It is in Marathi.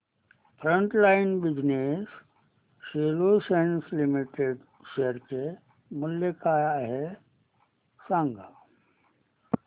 frontline Business Solutions Limited share चे मूल्य काय आहे हे सांगा